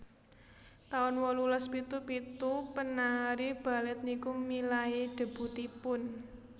taun wolulas pitu pitu penari Balet niku milai debutipun